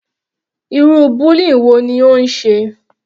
Irú bullying wo ni ó ń ṣe?